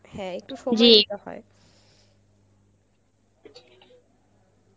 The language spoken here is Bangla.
হ্যাঁ একটু হয়